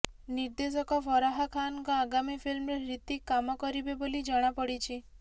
ନିର୍ଦ୍ଦେଶକ ଫରହା ଖାନଙ୍କ ଆଗାମୀ ଫିଲ୍ମରେ ହ୍ରିତିକ କାମ କରିବେ ବୋଲି ଜଣାପଡ଼ିଛି